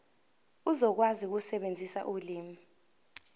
uzokwazi ukusebenzisa ulimi